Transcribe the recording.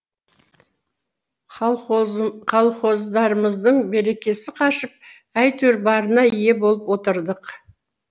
колхоздарымыздың берекесі қашып әйтеуір барына ие болып отырдық